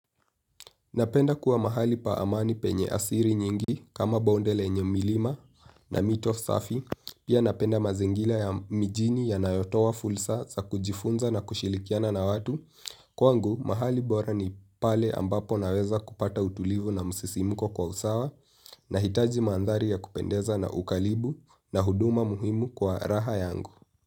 Napenda kuwa mahali pa amani penye asiri nyingi kama bonde lenye milima na mito safi. Pia napenda mazingila ya mijini yanayotoa fulsa za kujifunza na kushilikiana na watu. Kwangu mahali bora ni pale ambapo naweza kupata utulivu na msisimuko kwa usawa, nahitaji mandhari ya kupendeza na ukalibu na huduma muhimu kwa raha yangu.